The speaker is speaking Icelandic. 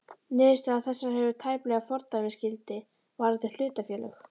Niðurstaða þessi hefur tæplega fordæmisgildi varðandi hlutafélög.